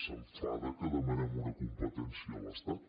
s’enfada perquè demanem una competència a l’estat